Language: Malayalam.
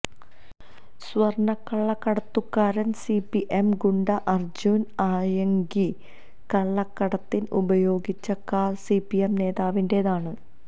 സ്വര്ണ്ണക്കള്ളക്കടത്തുകാരന് സിപിഎം ഗുണ്ട അര്ജുന് ആയങ്കി കള്ളക്കടത്തിന് ഉപയോഗിച്ച കാര് സിപിഎം നേതാവിന്റെതാണ്